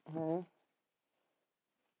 ਹੇ